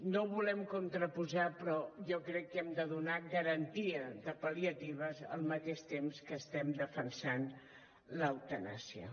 no ho volem contraposar però jo crec que hem de donar garantia de pal·liatives al mateix temps que estem defensant l’eutanàsia